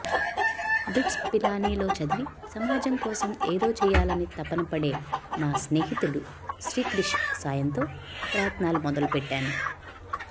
బిట్స్పిలానీలో చదివి సమాజం కోసం ఏదో చేయాలనే తపన పడే నా స్నేహితుడు శ్రీక్రిష్ సాయంతో ప్రయత్నాలు మొదలుపెట్టాను